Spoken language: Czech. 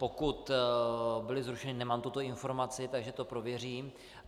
Pokud byly zrušeny, nemám tuto informaci, takže to prověřím.